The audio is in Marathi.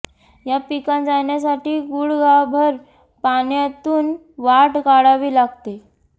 या पिकांत जाण्यासाठी गुडघाभर पाण्यातून वाट काढावी लागते